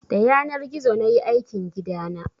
Da yanar gizo nayi aikin gidana